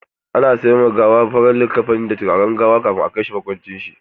Ana sanya ma gawa farar liƙafani da turaren gawa kafin a kai shi makwancin.